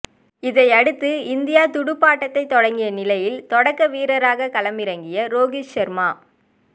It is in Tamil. இதையடுத்து இந்தியா துடுப்பாட்டத்தை தொடங்கிய நிலையில் தொடக்க வீரராக களமிறங்கிய ரோகித் சர்மா